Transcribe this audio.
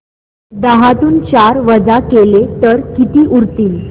दहातून चार वजा केले तर किती उरतील